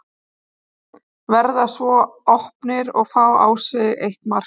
Verða svo opnir og fá á sig eitt mark.